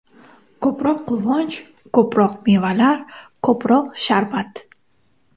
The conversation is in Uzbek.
Ko‘proq quvonch, ko‘proq mevalar, ko‘proq sharbat!!!.